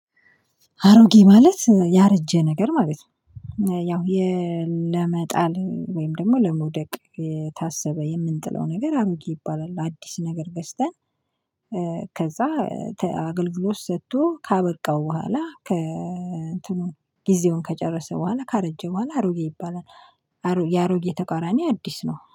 አሮጌ ማለት ያረጀ ነገር ማለት ነው። ያው ለመጣል ወይም ደግሞ ለመውደቅ የታሰበ የምንጥለው ነገር አምጊ ይባላል አዲስ ነገር ገዝተን ከዛ አገልግሎት ሰጥቶ ካበቃው በኋላ ጊዜውን ከጨረሰ በኋላ ካረጀ በኋላ አሮጌ ይባላል፣ የአሮጌ ተቃራኒ አዲስ ነው።